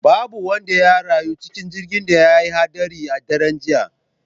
Babu wanda ya rayu cikin jirgin da ya haɗari a daren jiya